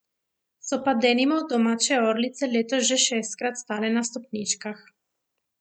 So pa denimo domače orlice letos že šestkrat stale na stopničkah.